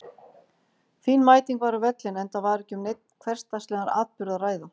Fín mæting var á völlinn enda var ekki um neinn hversdagslegan atburð að ræða.